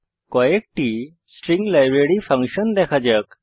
কয়েকটি string library function দেখা যাক